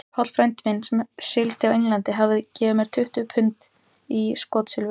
Páll frændi minn, sem sigldi á England, hafði gefið mér tuttugu pund í skotsilfur.